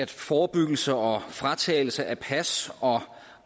forebyggelse og fratagelse af pas og